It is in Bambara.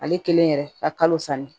Ale kelen yɛrɛ ka kalo sanni